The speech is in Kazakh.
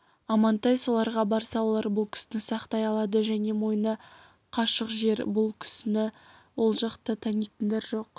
амантай соларға барса олар бұл кісіні сақтай алады және мойны қашық жер бұл кісіні ол жақта танитындар жоқ